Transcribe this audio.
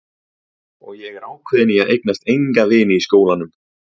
Og ég er ákveðin í að eignast enga vini í skólanum.